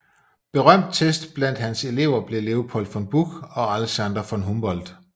Berømtest blandt hans Elever blev Leopold von Buch og Alexander von Humboldt